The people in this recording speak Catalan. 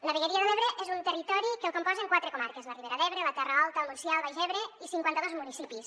la vegueria de l’ebre és un territori que el componen quatre comarques la ribera d’ebre la terra alta el montsià el baix ebre i cinquanta·dos municipis